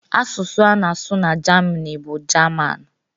Asụsụ a na-asụ na Jamini bụ Jaman